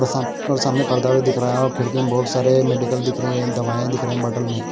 और सा और सामने पर्दा भी दिख रहा है और खिड़की में बहुत सारे मेडिकल दिख रहे हैं दवाइयां दिख रही हैं बॉटल में।